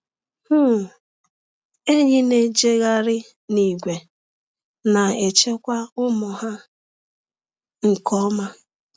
um Enyí na-ejegharị n’ìgwè, na-echekwa ụmụ ha nke ọma.